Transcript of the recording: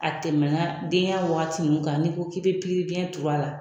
A tɛmɛna denya waati ninnu kan n'i ko k'i bɛ pikiribiɲɛ turu a la